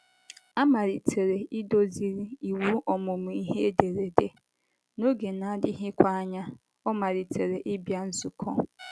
A malitere iduziri ịwụ ọmụmụ ihe ederede, n’oge na - adịghịkwa anya, ọ malitere ịbịa nzukọ.